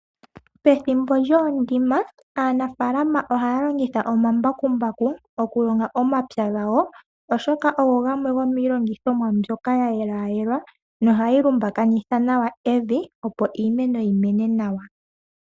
Pethimbo lyokulonga aanafaalama ohaya longitha omambakumbaku oku longa omapya gawo oshoka ogo gamwe go miilongithomwa mbyoka ya yelwa yelwa ,nohayi lumbakanitha nawa evi opo iimeno yimene nawa.